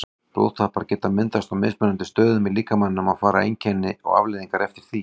Blóðtappar geta myndast á mismunandi stöðum í líkamanum og fara einkenni og afleiðingar eftir því.